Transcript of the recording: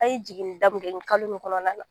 A ye jiginni da min kɛ kalo in kɔnɔna na